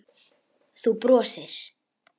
Þú brosir.